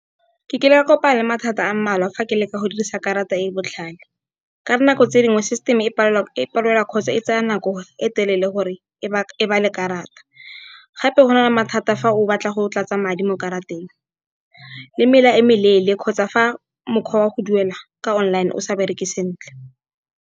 Ke kile ka kopana le mathata a mmalwa fa ke leka go dirisa karata e e botlhale. Ka nako tse dingwe, system-e e palelwa kgotsa e tsaya nako e telele gore e bale karata. Gape go na le mathata fa o batla go tlatsa madi mo karateng le mela e meleele kgotsa fa mokgwa wa go duela ka online o sa bereke sentle.